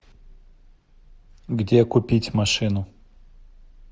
где купить машину